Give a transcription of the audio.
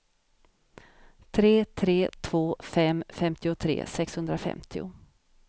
tre tre två fem femtiotre sexhundrafemtio